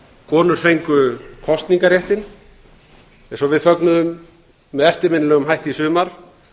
konur fengu kosningarréttinn eins og við fögnuðum með eftirminnilegum hætti í sumar